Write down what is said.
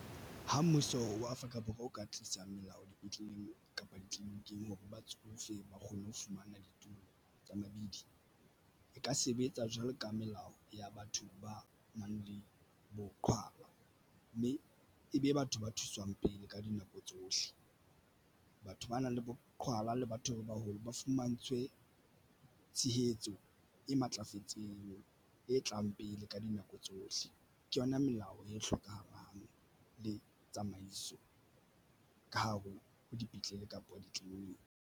Ha mmuso wa Afrika Borwa o ka tlisang melao dipetleleng kapa ditliliniking hore batsofe ba kgone ho fumana ditulo tsa mabidi e ka sebetsa jwalo ka melao ya batho ba nang le boqhwala mme ebe batho ba thuswang pele ka dinako tsohle. Batho ba nang le boqhwala le batho ba baholo ba fumantshwe tshehetso e matlafetseng e tlang pele ka dinako tsohle. Ke yona melao e hlokahalang le tsamaiso ka hare ho dipetlele kapa ditleliniki.